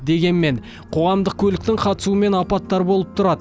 дегенмен қоғамдық көліктің қатысуымен апаттар болып тұрады